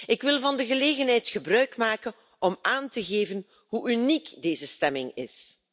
Ik wil van de gelegenheid gebruikmaken om aan te geven hoe uniek deze stemming is.